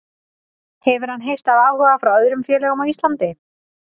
Hefur hann heyrt af áhuga frá öðrum félögum á Íslandi?